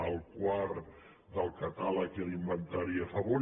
el quart del catàleg i l’inventari a favor